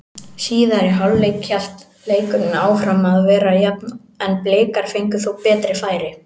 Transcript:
Í síðari hálfleik hélt leikurinn áfram að vera jafn en Blikar fengu þó betri færi.